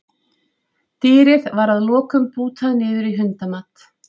Dýrið var að lokum bútað niður í hundamat.